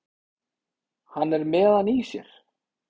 Hann er með hann í sér.